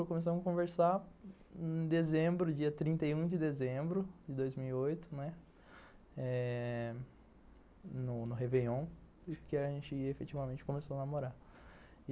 Começamos a conversar em dezembro, dia trinta e um de dezembro de dois mil e oito, no Réveillon, que a gente efetivamente começou a namorar.